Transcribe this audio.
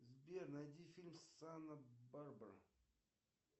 сбер найди фильм санта барбара